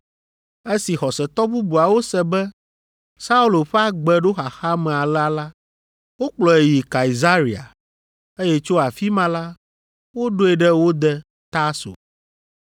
Esi xɔsetɔ bubuawo se be Saulo ƒe agbe ɖo xaxa me alea la, wokplɔe yi Kaesarea, eye tso afi ma la, woɖoe ɖe wo de, Tarso.